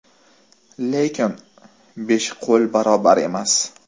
Lekin besh qo‘l barobar emas.